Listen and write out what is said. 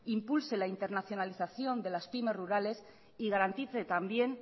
impulse la internacionalización de las pymes rurales y garantice también